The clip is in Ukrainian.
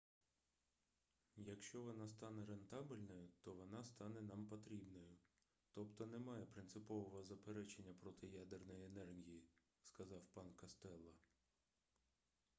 якщо вона стане рентабельною то вона стане нам потрібною тобто немає принципового заперечення проти ядерної енергії - сказав пан костелло